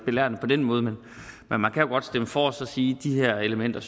belærende på den måde men man kan jo godt stemme for og så sige at de her elementer